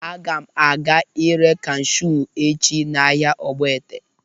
Aga m aga ị ree kashụ echi n'ahịa Ogbete